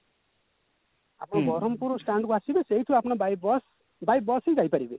ଆପଣ ବରମ୍ପୁର stand କୁ ଆସିବେ ସେଉଠୁ ଆପଣ by bus by bus ହିଁ ଯାଇପାରିବେ